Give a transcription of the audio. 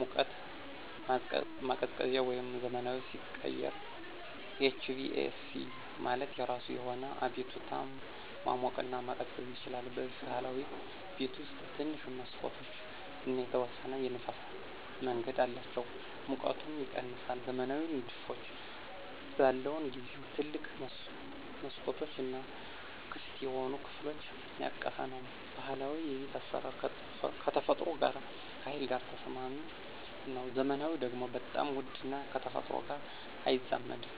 ሙቀት ማቀዝቀዚያ ወደ ዘመናዊ ሲቀየር HVAC ማለት የራሱ የሆነ አቤቱታ ማሞቅና መቀዝቀዝ ይችላል። በብህላዊ ቤት ውስጥ ትንሽ መሠኮቶች እና የተወሰነ የንፍስ መንገድ አላቸው ሙቀቱም ይቀነሳል። ዘመናዊ ንድፎች በለውን ጊዜው ትልቅ መስኮቶች እና ክፍት የሆኑ ከፍሎች ያቀፈ ነው። ባህላዊ የቤት አስራር ከተፈጥሮ ጋር ከሀይል ጋር ተስማሚ ነው። ዘመናዊ ደግሞ በጣም ውድ እና ከተፈጥሮ ጋር አይዛመድም።